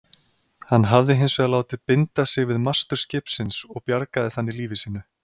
Hann hafði hins vegar látið binda sig við mastur skipsins og bjargaði þannig lífi sínu.